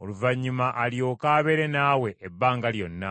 oluvannyuma alyoke abeere naawe ebbanga lyonna,